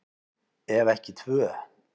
Ef ekki tvö.